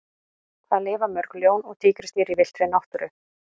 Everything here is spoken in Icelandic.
Hvað lifa mörg ljón og tígrisdýr í villtri náttúru?